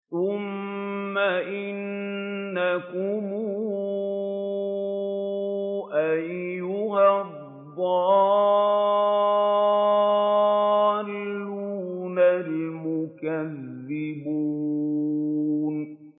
ثُمَّ إِنَّكُمْ أَيُّهَا الضَّالُّونَ الْمُكَذِّبُونَ